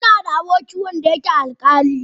Ina da aboki wanda yake alƙali.